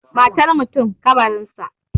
Matar mutum, ƙabarinsa